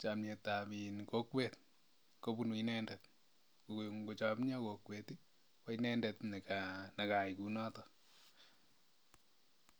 chomyetab kokwet.